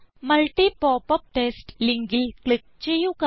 multi പോപ്പപ്റ്റസ്റ്റ് ലിങ്കിൽ click ചെയ്യുക